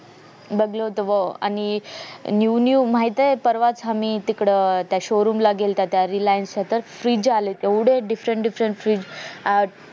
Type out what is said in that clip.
बगल होत व आणि new new माहित हाय परवाच आमी तिकडं त्या showroom ला गेलात reliance सतत fridge आलेत एवढे different different fridge अं